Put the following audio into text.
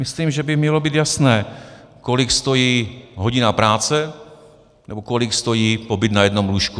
Myslím, že by mělo být jasné, kolik stojí hodina práce nebo kolik stojí pobyt na jednom lůžku.